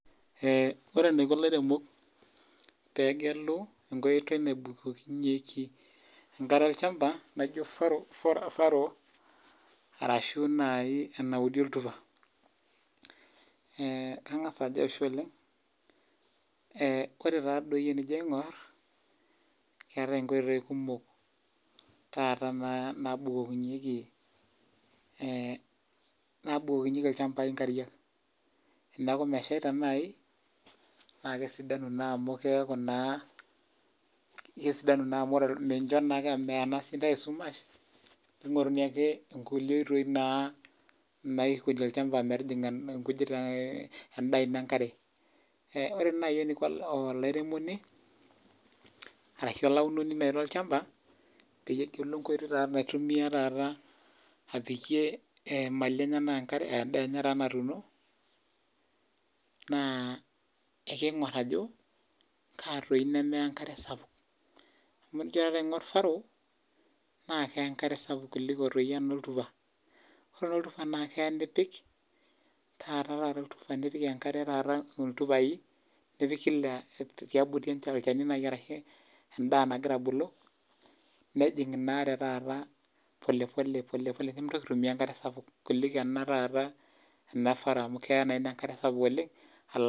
Ore enaiko ilairemok pegelu inkooti nabukukinyeki enkare olchamba naijo farrow arashu naji enaudi oltupa , eetae nkoitoi kumok nabukokinyieki ilchambai olchamba naa kesidanu naa amu meya naa ntae esumash ningoruni nkulie tokitin naikoni metijinga olchamba . Ore naji eniko olairemoni arashu olairemoni nai lolchamba naa ekeingor naa ajo ekaa nai eneya olchamba amu